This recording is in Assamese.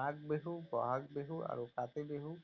মাঘ বিহু, বহাগ বিহু আৰু কাতি বিহু